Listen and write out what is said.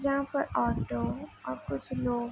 जहाँ पर ऑटो और कुछ लोग --